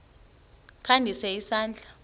kha ndise isandla